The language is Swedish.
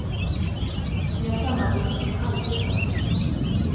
Vi har samarbetat som aldrig förr.